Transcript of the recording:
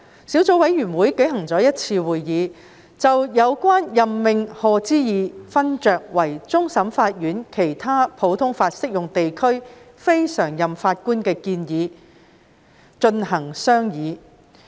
小組委員會舉行了1次會議，就有關任命賀知義勳爵為終審法院其他普通法適用地區非常任法官的建議進行商議。